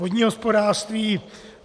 Vodní hospodářství.